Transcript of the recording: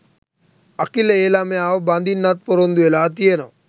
අකිල ඒ ළමයාව බඳින්නත් ‍පොරොන්දු වෙලා තියෙනවා